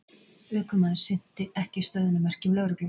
Ökumaður sinnti ekki stöðvunarmerkjum lögreglu